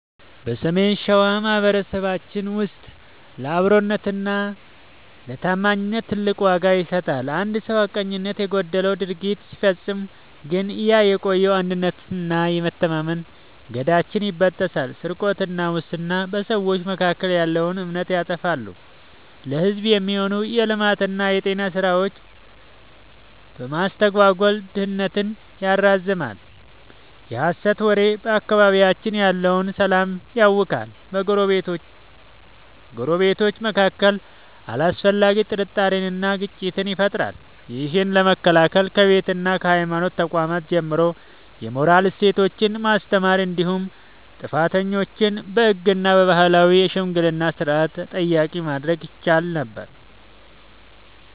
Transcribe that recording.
በሰሜን ሸዋ ማኅበረሰባችን ውስጥ ለአብሮነትና ለታማኝነት ትልቅ ዋጋ ይሰጣል። አንድ ሰው ሐቀኝነት የጎደለው ድርጊት ሲፈጽም ግን ያ የቆየው የአንድነትና የመተማመን ገመዳችን ይበጠሳል። ስርቆትና ሙስና፦ በሰዎች መካከል ያለውን እምነት ያጠፋሉ፤ ለሕዝብ የሚሆኑ የልማትና የጤና ሥራዎችን በማስተጓጎል ድህነትን ያራዝማሉ። የሐሰት ወሬ፦ በአካባቢያችን ያለውን ሰላም ያውካል፤ በጎረቤታማቾች መካከል አላስፈላጊ ጥርጣሬንና ግጭትን ይፈጥራል። ይህን ለመከላከል ከቤትና ከሃይማኖት ተቋማት ጀምሮ የሞራል እሴቶችን ማስተማር እንዲሁም ጥፋተኞችን በሕግና በባህላዊ የሽምግልና ሥርዓት ተጠያቂ ማድረግ ይቻል ነበር።